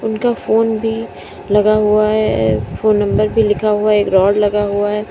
उनका फोन भी लगा हुआ है फोन नंबर भी लिखा हुआ एक राड लगा हुआ है।